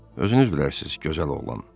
Özünüz bilərsiz, gözəl oğlan.